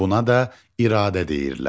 Buna da iradə deyirlər.